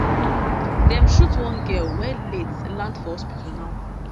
dem shoot one girl wey late land for hospital now